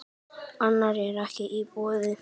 Annað er ekki í boði.